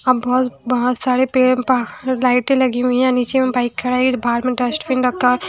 हम बहुत बहुत सारे पेड़ पर लाइटें लगी हुई है नीचे में बाइक खड़ा है बाहर में डस्ट बिन रखा--